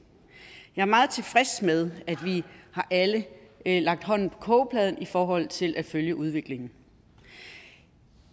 jeg er meget tilfreds med at vi alle har lagt hånden på kogepladen i forhold til at følge udviklingen